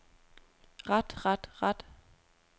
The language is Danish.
ret ret ret